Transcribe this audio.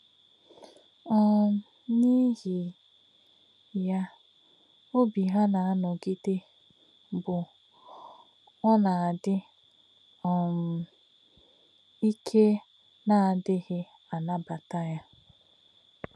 um N’íhì̄ yá̄, ọ̀bí̄ hà̄ nā̄-ànọ̄gị̀dè̄ bụ̀ ọ̀nà̄ dị́ um ìké̄nà̄dí̄ghí̄ ànà̄bà̄tà̄ yá̄.